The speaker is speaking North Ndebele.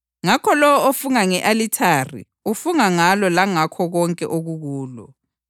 Ngakho lowo ofunga nge-alithare ufunga ngalo langakho konke okukulo.